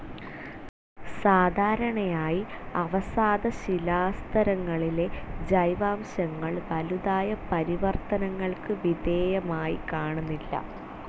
സാധാരണയായി അവസാദശിലാസ്തരങ്ങളിലെ ജൈവാംശങ്ങൾ വലുതായ പരിവർത്തനങ്ങൾക്കു വിധേയമായിക്കാണുന്നില്ല.